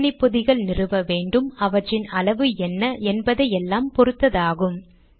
எத்தனை பொதிகள் நிறுவ வேண்டும் அவற்றின் அளவு என்ன என்பதை எல்லாம் பொருத்ததாகும்